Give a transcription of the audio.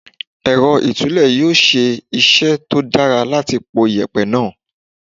Èrọ ìtúlẹ̀ yóò ṣe iṣẹ́ tó dára láti po yèpẹ̀ náà.